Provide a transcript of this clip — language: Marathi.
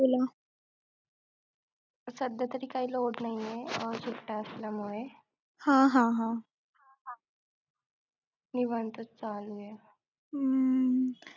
सध्या तरी काय load नाहीये अं सुट्ट्या असल्यामुळे निवांत चालूये